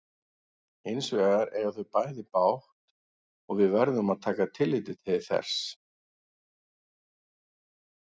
Hins vegar eiga þau bæði bágt og við verðum að taka tillit til þess.